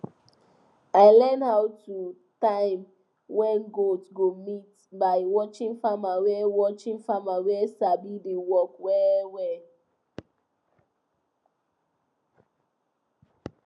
i learn how to time when goat go mate by watching farmers wey watching farmers wey sabi the work well